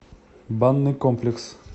банный комплекс